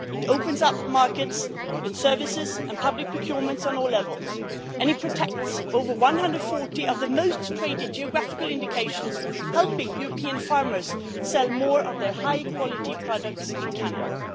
It opens up markets in services and public procurement on all levels, and it protects over 140 of the most traded geographical indications, helping European farmers sell more of their high-quality products in Canada.